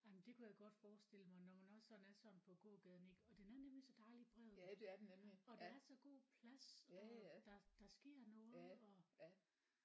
Jamen det kunne jeg godt forestille mig når man også sådan er sådan på gågaden ik og den er nemlig så dejlig bred og der er så god plads og der der sker noget og